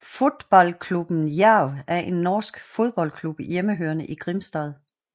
Fotballklubben Jerv er en norsk fodboldklub hjemmehørende i Grimstad